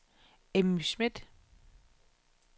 Emmy Smith